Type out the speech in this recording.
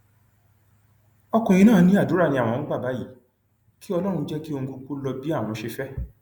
ọkùnrin náà ní àdúrà ni àwọn ń gbà báyìí kí ọlọrun jẹ kí ohun gbogbo lọ bí àọn ṣe fẹ